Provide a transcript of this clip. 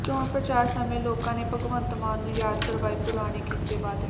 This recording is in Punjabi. ਚੋਣ ਪ੍ਰਚਾਰ ਸਮੇਂ ਲੋਕਾਂ ਨੇ ਭਗਵੰਤ ਮਾਨ ਨੂੰ ਯਾਦ ਕਰਵਾਏ ਪੁਰਾਣੇ ਕੀਤੇ ਵਾਅਦੇ